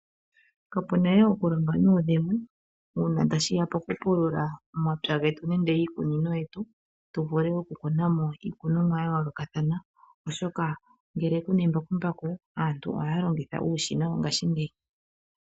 Kapunaye okulonga nuudhigu una tashiya pokupulula omapya getu, nenge iikunino yetu tuvule okukunamo iikunomwa yayolokathana oshoka ngele kuna embakumbaku aantu ohalongitha uushina wongashingeyi.